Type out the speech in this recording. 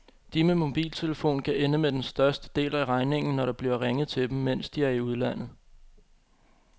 De med mobiltelefon kan ende med den største del af regningen, når der bliver ringet til dem, mens de er i udlandet.